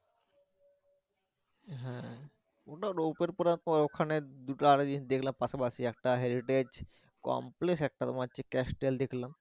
হ্যা ওটা । পরে ওখানে দুটো আর এক জিনিস দেখলাম পাশাপাশি একটা heritage complex একটা তোমার হচ্ছে castle দেখলাম।